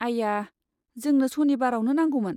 आइआ, जोंनो सनिबारावनो नांगौमोन!